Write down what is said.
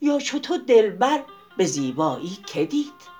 یا چو تو دلبر به زیبایی که دید